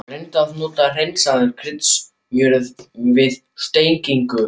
Reyndu að nota hreinsaða kryddsmjörið við steikingu.